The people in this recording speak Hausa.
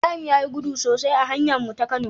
Ibrahim yayi gudu sosai a hanyar mu ta kano